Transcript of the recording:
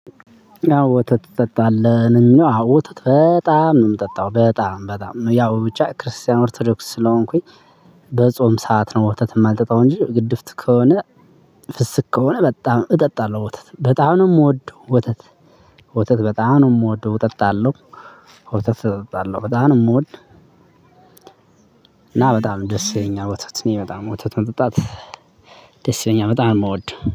ወተት ትጠጣለህ? ነው እሚለው ወተት በጣም ነው የምጠጣው በጣም በጣም ነው ያው ብቻ ክርስቲያን ኦርቶዶክስ ስለሆንኩኝ በጾም ሰዓት ነው ወተት የማልጠጣው እንጂ ግድፍት ከሆነ ፍስክ ከሆነ በጣም እጠጣለሁ ወተት። በጣም ነው እምወድ ወተት እጠጣለሁ እና በጣም ደስ ይለኛል ወተት እኔ በጣም ወተት መጠጣት ደስ ይለኛል በጣም ነው እምወድ።